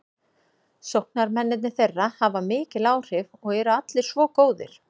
Sóknarmennirnir þeirra hafa mikil áhrif og eru allir svo góðir.